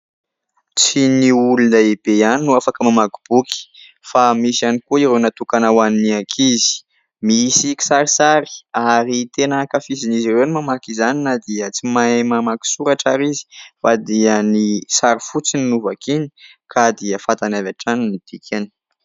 Tsy ny olon-dehibe ihany no afaka mamaky boky, fa misy ihany koa ireo natokana hoan'ny ankizy. Misy kisarisary ary tena ankafizin'izy ireo ny mamaky izany na dia tsy mahay mamaky soratra ary izy fa dia ny sary fotsiny no vakiana ka dia fantany avy hatrany ny dikany.